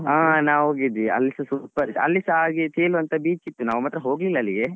ಹ ನಾವ್ ಹೋಗಿದ್ವಿ. ಅಲ್ಲಿಸ super ಇತ್ತು. ಅಲ್ಲಿಸಾ ಹಾಗೆ ತೇಲುವಂತ beach ಇತ್ತು ನಾವ್ ಮಾತ್ರ ಹೋಗ್ಲಿಲ್ಲಾ ಅಲ್ಲಿಗೆ.